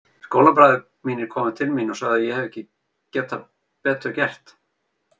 Skólabræður mínir komu til mín og sögðu að ég hefði ekki getað betur gert.